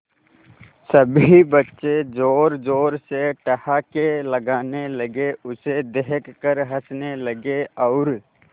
सभी बच्चे जोर जोर से ठहाके लगाने लगे उसे देख कर हंसने लगे और